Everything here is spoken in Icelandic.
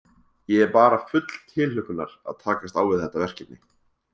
Ég er bara full tilhlökkunar að takast á við þetta verkefni.